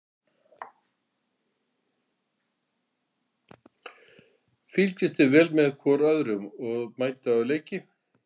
Fylgist þið vel með hvorum öðrum og mætið á leiki?